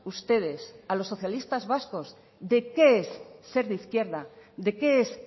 ustedes a los socialistas vascos de qué es ser de izquierda de qué es